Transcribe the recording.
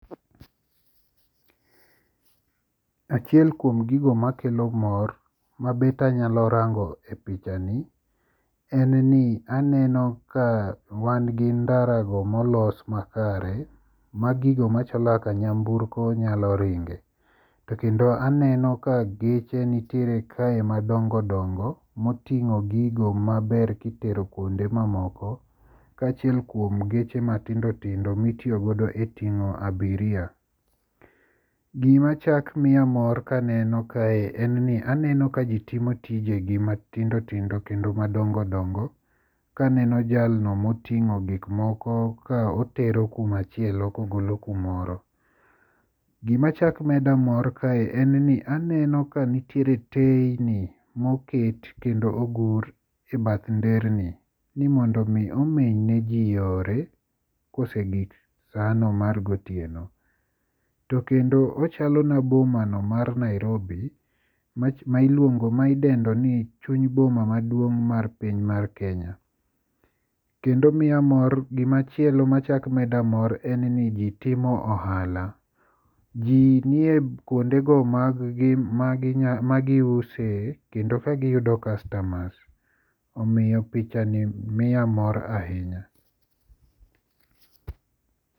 Achiel kuom gigo makelo mor mabet anyalo rango e pichani en ni aneno ka wan gi ndarago molos makare ma gigo machalo kaka nyamburko nyalo ringe to kendo aneno ka geche nitiere kae madongodongo moting'o gigo maber kitero kuonde mamoko kaachiel kuom geche matindotindo mitiyogodo e ting'o abiria. Gimachak miya mor kaneno kae en ni aneno ka ji timo tijegi matindotindo kendo madongodongo kaneno jalno moting'o gikmoko ka otero kumachielo kogolo kumoro. Gimachak meda mor kae en ni aneno kanitiere teyni ma oket kendo ogur e bath nderni ni mondo omi omenyne ji yore kosegik sanono mar gotieno. To kendo ochalona bomano mar nairobi ma idendo ni chuny boma maduong' mar piny mar Kenya. Gimachielo machak meda mor en ni ji timo ohala ji nie kuondego maggi magiuse kendo kagiyudo kastamas, omiyo pichani miya mor ahinya.